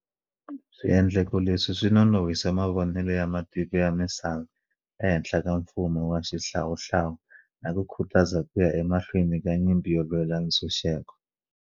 Swiendleko leswi swi nonohise mavonelo ya matiko ya misava ehenhla ka mfumo wa xihlawuhlawu na ku khutaza ku ya emahlweni ka nyimpi yo lwela ntshunxeko.